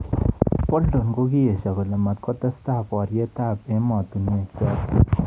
Bolton kokiesho kole matkotestai boriet ab emotunwek chotok.